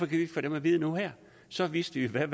vi ikke få dem at vide nu her så vidste vi i hvert